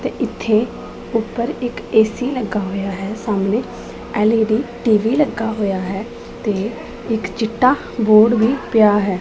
ਤੇ ਇੱਥੇ ਊਪਰ ਇੱਕ ਐ_ਸੀ ਲੱਗਾ ਹੋਇਆ ਹੈ ਸਾਹਮਣੇ ਐਲ_ਈ_ਡੀ ਟੀ_ਵੀ ਲੱਗਾ ਹੋਇਆ ਹੈ ਤੇ ਇੱਕ ਚਿੱਟਾ ਬੋਰਡ ਵੀ ਪਿਆ ਹੈ।